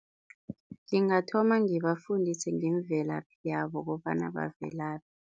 Ngingathoma ngibafundise ngemvelaphi yabo kobana bavelaphi.